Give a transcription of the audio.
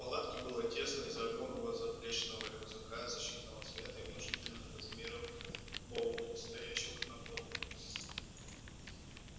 в палатке было тесно из-за огромного заплечного рюкзака защитного цвета и внушительных размеров баула стоящих на полу